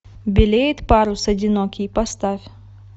белеет парус одинокий поставь